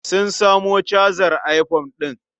Sun samo cajar iphone ɗin.